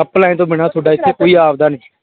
online ਤੋਂ ਬਿਨਾਂ ਤੁਹਾਡਾ ਇੱਥੇ ਕੋਈ ਆਪਦਾ ਨੀ।